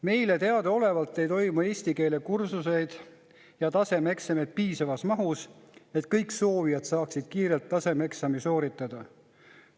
Meile teadaolevalt ei toimu eesti keele kursuseid ja tasemeeksameid piisavas mahus, et kõik soovijad saaksid kiirelt tasemeeksami sooritada.